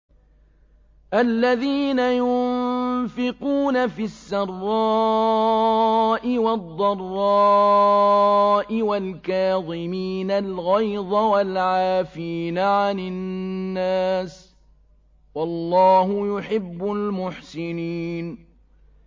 الَّذِينَ يُنفِقُونَ فِي السَّرَّاءِ وَالضَّرَّاءِ وَالْكَاظِمِينَ الْغَيْظَ وَالْعَافِينَ عَنِ النَّاسِ ۗ وَاللَّهُ يُحِبُّ الْمُحْسِنِينَ